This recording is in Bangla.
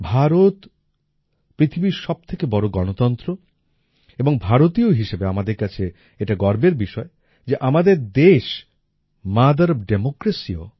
ভারত পৃথিবীর সব থেকে বড় গণতন্ত্র এবং ভারতীয় হিসেবে আমাদের কাছে এটা গর্বের বিষয় যে আমাদের দেশ মথের ওএফ Democracyও